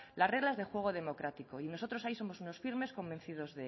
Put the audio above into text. las reglas del juego democrático y nosotros ahí somos unos firmes convencidos